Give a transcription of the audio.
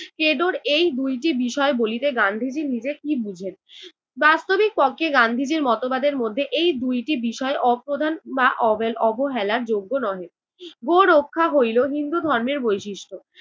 ক্রেডোর এই দুইটি বিষয় বলিতে গান্ধীজি নিজে কী বুঝেন। বাস্তবিক পক্ষে গান্ধীজির মতবাদের মধ্যে এই দুইটি বিষয় অপ্রধান বা অব~ অবহেলার যোগ্য নহে। গো রক্ষা হইল হিন্দু ধর্মের বৈশিষ্ট্য